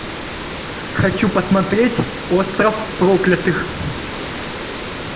хочу посмотреть остров проклятых